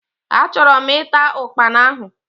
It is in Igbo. Achorom ita Ụkpana ahu.